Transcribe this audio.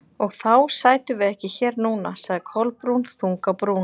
Og þá sætum við ekki hér núna- sagði Kolbrún, þung á brún.